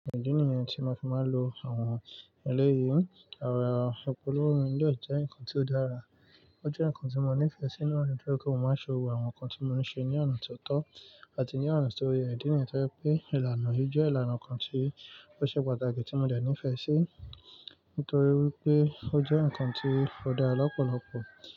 Idí niyẹn tí máa fi máa lo àwọn ẹlẹ́yìí, e ìpolówó mi dè jẹ́ nǹkan tí ó dára. Ó jẹ́ nǹkan tí mo nífẹ̀ẹ́ sí nani tori pe mo máa ṣe gbogbò àwọn nǹkan tí mo ní ṣe ní ọ̀nà ti ó tọ́ àti ní ọ̀nà ti tó yẹ. Idi niyi tó jẹ pé ìlànà yìí jẹ́ ìlànà kan tí ó ṣe pàtàkì tí mo dẹ̀ nífẹ̀ẹ́ sí nítorí wípé ó jẹ́ nǹkan tí ó dára lọ́pọ̀lọpọ̀.